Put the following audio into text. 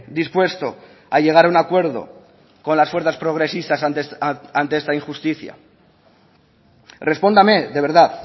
dispuesto a llegar a un acuerdo con las fuerzas progresistas ante esta injusticia respóndame de verdad